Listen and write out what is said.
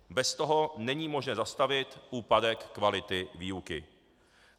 Bez toho není možné zastavit úpadek kvality výuky.